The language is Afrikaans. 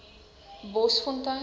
bosfontein